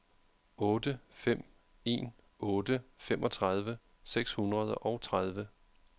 otte fem en otte femogtredive seks hundrede og tredive